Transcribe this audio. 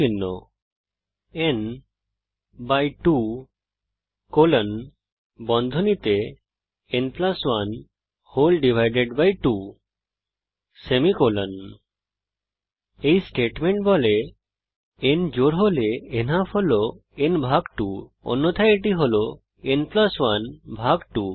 n 2 n 1 2 semicolon এই statement বলে n জোড় হলে নালফ হল n ভাগ 2 অন্যথায় এটি হল n প্লাস 1 ভাগ 2